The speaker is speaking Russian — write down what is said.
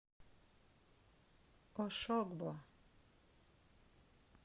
ошогбо